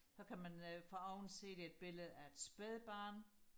så kan man foroven se det er et billede af et spædbarn